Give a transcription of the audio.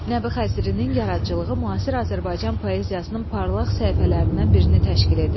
Nəbi Xəzrinin yaradıcılığı müasir Azərbaycan Poeziyasının parlaq səhifələrindən birini təşkil edir.